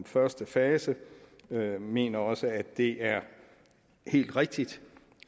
første fase vi mener også at det er helt rigtigt